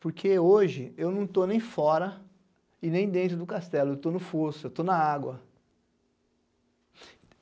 Porque hoje eu não estou nem fora e nem dentro do castelo, eu estou no fosso, eu estou na água.